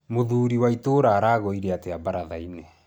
Mũthuri wa itũũra araugire atĩa baratha-inĩ